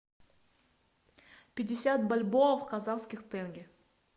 пятьдесят бальбоа в казахских тенге